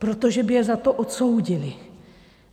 Protože by je za to odsoudili.